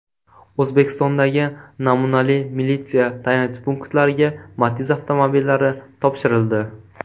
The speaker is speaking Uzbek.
O‘zbekistondagi namunali militsiya tayanch punktlariga Matiz avtomobillari topshirildi.